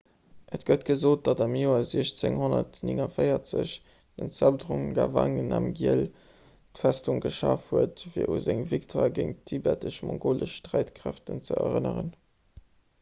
et gëtt gesot datt am joer 1649 den zhabdrung ngawang namgyel d'festung geschaf huet fir u seng victoire géint d'tibetesch-mongolesch sträitkräeften ze erënneren